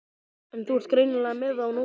En þú ert greinilega með á nótunum.